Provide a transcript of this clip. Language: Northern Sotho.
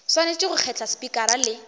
swanetše go kgetha spikara le